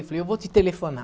Eu falei, eu vou te telefonar.